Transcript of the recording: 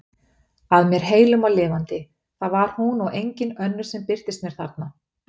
Að mér heilum og lifandi, það var hún og engin önnur sem birtist mér þarna!